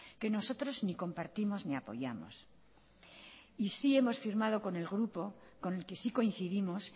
que nosotros ni compartimos ni apoyamos y sí hemos firmado con el grupo con el que sí coincidimos